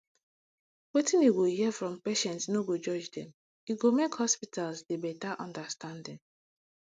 wetin you go hear from patients no go judge dem e go make hospitals dey better understanding